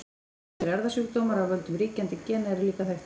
Ýmsir erfðasjúkdómar af völdum ríkjandi gena eru líka þekktir.